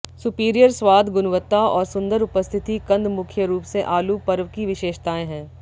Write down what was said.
superior स्वाद गुणवत्ता और सुंदर उपस्थिति कंद मुख्य रूप से आलू पर्व की विशेषताएँ हैं